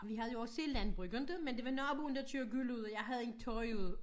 Vi havde jo også landbrug inte men det var naboen der kørte gylle ud og jeg havde hængt tøj ud